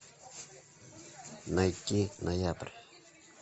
найти ноябрь